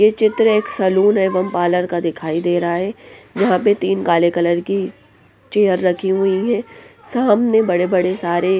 ये चित्र एक सैलून एवं पार्लर का दिखाई दे रहा हैं यहाँ पर तीन काले कलर की चेयर रखी हुई है सामने बड़े-बड़े सारे --